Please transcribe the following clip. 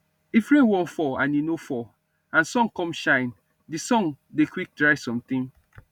if rain wan fall and e no fall and sun come shine dey sun dey quick dry something